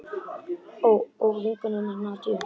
Og vinkonu hennar Nadiu.